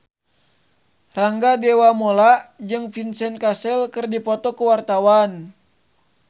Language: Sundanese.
Rangga Dewamoela jeung Vincent Cassel keur dipoto ku wartawan